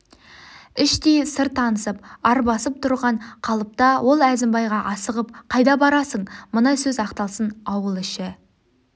іштей сыр танысып арбасып тұрған қалыпта ол әзімбайға асығып қайда барасың мына сөз аяқталсын ауыл іші